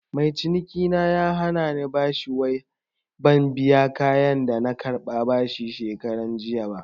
Mai cinikina ya hanani bashi wai ban biya kayan da na karɓa bashi shekaranjiya ba